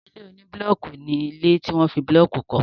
Ilé oní búlọọkù ní ilé tí wọ́n fi búlọọkù kọ